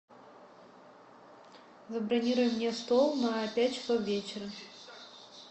забронируй мне стол на пять часов вечера